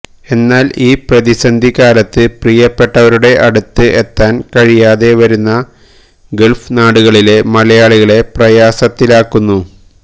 എന്നാല് ഈ പ്രതിസന്ധി കാലത്ത് പ്രിയപ്പെട്ടവരുടെ അടുത്ത് എത്താന് കഴിയാതെ വരുന്നത് ഗള്ഫ് നാടുകളിലെ മലയാളികളെ പ്രയാസത്തിലാക്കുന്നു